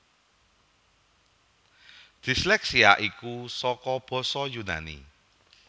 Disleksia iku saka basa Yunani